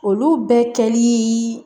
Olu bɛɛ kɛlii